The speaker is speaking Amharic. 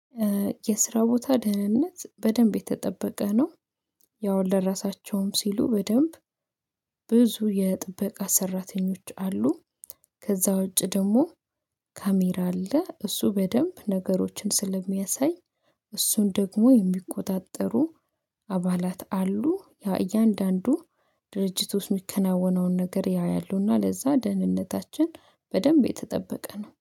የስራ ቦታ ደህንነት በደንብ የተጠበቀ ነው። ያው ለራሳቸውም ሲሉ በደንብ ብዙ የጥበቃ ሰራተኞች አሉ። ከዛ ውጪ ደግሞ ካሜራ አለ እሱ በደንብ ነገሮችን ስለሚያሳይ እሱን ደግሞ የሚቆጣጠሩ አባላት አሉ። ያ እያንዳንዱ ድርጅት ውስጥ የሚከናወነውን ነገር ያያሉና ለዛ ደህንነታችን በደንብ የተጠበቀ ነው